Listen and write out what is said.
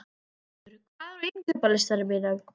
Sigtryggur, hvað er á innkaupalistanum mínum?